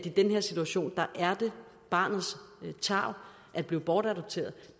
en given situation var barnets tarv at blive bortadopteret